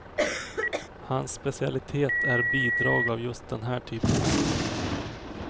Hans specialitet är bidrag av just den här typen.